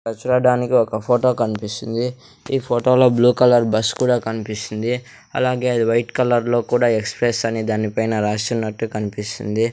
ఇక్కడ చూడడానికి ఒక ఫోటో కనిపిస్తుంది ఈ ఫొటో లో బ్లూ కలర్ బస్సు కూడా కనిపిస్తుంది అలాగే అది వైట్ కలర్ లో కూడా ఎక్సప్రెస్ అన్ని దాని పైన రాసునట్టు కనిపిస్తుంది.